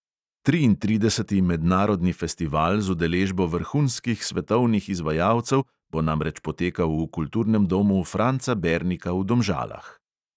Triintrideseti mednarodni festival z udeležbo vrhunskih svetovnih izvajalcev bo namreč potekal v kulturnem domu franca bernika v domžalah.